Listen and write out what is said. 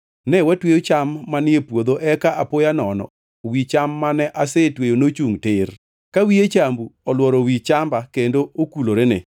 Ne watweyo cham manie puodho eka apoya nono wi cham mane asetweyo nochungʼ tir, ka wiye chambu olworo wi chamba kendo okulorene.”